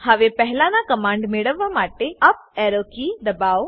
હવે પહેલાના કમાંડ મેળવવા માટે યુપી એરો કી દબાઓ